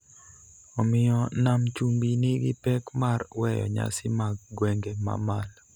omiyo Nam Chumbi nigi pek mar weyo nyasi mag gwenge ma malo.